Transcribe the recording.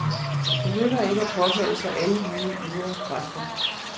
Det nytter ikke at påkalde sig alle mulige ydre kræfter.